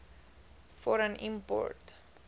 for an import